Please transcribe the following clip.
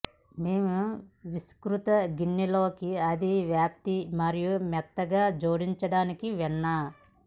మేము విస్తృత గిన్నె లోకి అది వ్యాప్తి మరియు మెత్తగా జోడించడానికి వెన్న